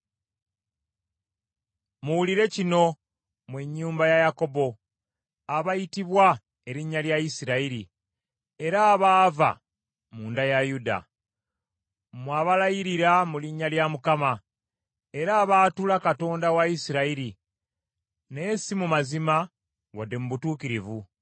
“Muwulire kino, mmwe ennyumba ya Yakobo, abayitibwa erinnya lya Isirayiri, era abaava mu nda ya Yuda. Mmwe abalayirira mu linnya lya Mukama , era abaatula Katonda wa Isirayiri, naye si mu mazima wadde mu butuukirivu.